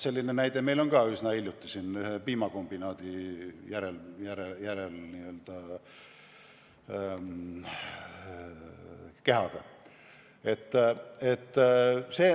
Selline näide on meil ka üsna hiljutisest ajast võtta, ühe piimakombinaadi kehaga.